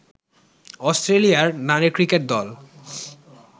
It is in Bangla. অস্ট্রেলিয়ার নারী ক্রিকেট দল